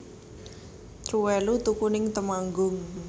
Truwelu tuku ning Temanggung